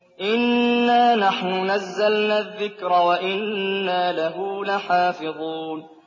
إِنَّا نَحْنُ نَزَّلْنَا الذِّكْرَ وَإِنَّا لَهُ لَحَافِظُونَ